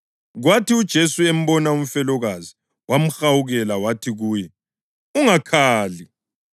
Kwathi uJesu embona umfelokazi, wamhawukela wathi kuye, “Ungakhali.”